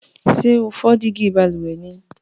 Sé o fo dígí balùwè ni?